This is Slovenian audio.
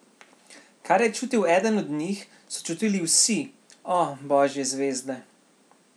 Kar je čutil eden od njih, so čutili vsi, o, božje zvezde.